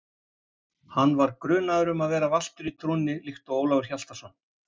Hann var grunaður um að vera valtur í trúnni líkt og Ólafur Hjaltason.